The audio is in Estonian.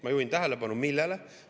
Ma juhin tähelepanu millele?